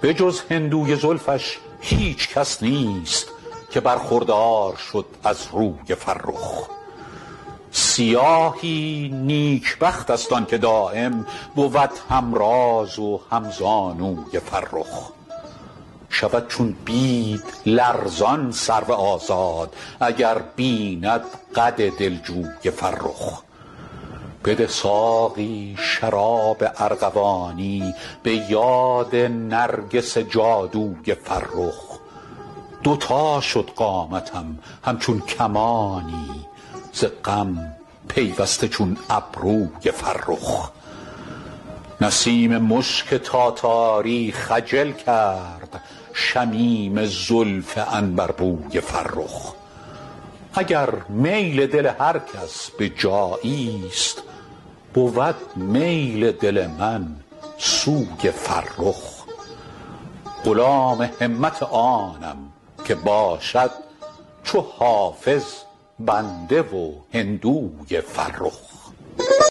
به جز هندوی زلفش هیچ کس نیست که برخوردار شد از روی فرخ سیاهی نیکبخت است آن که دایم بود هم راز و هم زانوی فرخ شود چون بید لرزان سرو آزاد اگر بیند قد دلجوی فرخ بده ساقی شراب ارغوانی به یاد نرگس جادوی فرخ دو تا شد قامتم همچون کمانی ز غم پیوسته چون ابروی فرخ نسیم مشک تاتاری خجل کرد شمیم زلف عنبربوی فرخ اگر میل دل هر کس به جایی ست بود میل دل من سوی فرخ غلام همت آنم که باشد چو حافظ بنده و هندوی فرخ